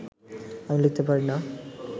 আমি লিখতে পারি না